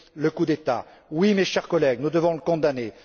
condamner le coup d'État? Oui, mes chers collègues, nous devons le